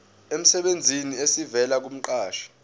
emsebenzini esivela kumqashi